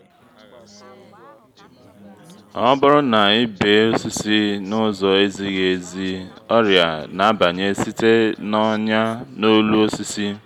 ọ bụrụ na i bee osisi na-ụzọ ezighi ezi ọrịa na-abanye site na’ọnyà n’olu osisi.